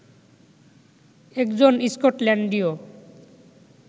একজন স্কটল্যান্ডীয়